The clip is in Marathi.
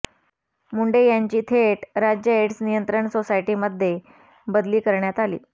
मुंढे यांची थेट राज्य एड्स नियंत्रण सोसायटीमध्ये बदली करण्यात आली